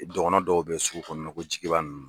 Dɔgɔnɔn dɔw bɛ sugu kɔnɔnɔ ko Jigiba ninnu.